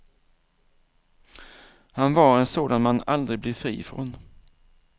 Han var en sådan man aldrig blir fri från.